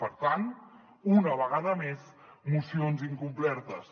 per tant una vegada més mocions incomplertes